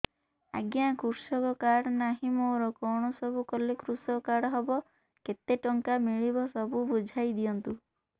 ଆଜ୍ଞା କୃଷକ କାର୍ଡ ନାହିଁ ମୋର କଣ ସବୁ କଲେ କୃଷକ କାର୍ଡ ହବ କେତେ ଟଙ୍କା ମିଳିବ ସବୁ ବୁଝାଇଦିଅନ୍ତୁ